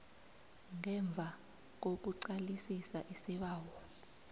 ngemva kokuqalisisa isibawo